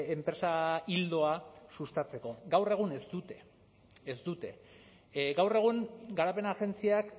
enpresa ildoa sustatzeko gaur egun ez dute ez dute gaur egun garapen agentziak